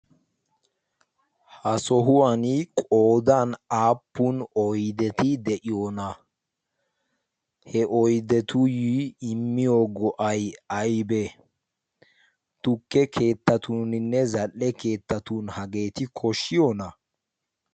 ha sohuwan qodan aappun oydeti de'iyoona he oydetuyyi immiyo go'ay aybee tukke keettatuuninne zal''e keettatun hageeti koshshiyoona